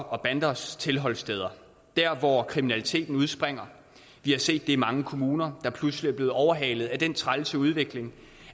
og banders tilholdssteder der hvor kriminaliteten udspringer vi har set i mange kommuner der pludselig er blevet overhalet af den trælse udvikling